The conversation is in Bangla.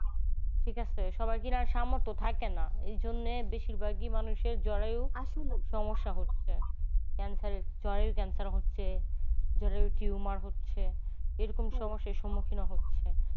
ঠিক আছে সবার কেনার সামর্থ থাকেনা। এই জন্যে বেশিরভাগই মানুষ জরায়ুর সমস্যা হচ্ছে cancer জরায়ুর cancer হচ্ছে। জরায়ুর timour হচ্ছে। এরকম সমস্যার সম্মুখীনও হচ্ছে।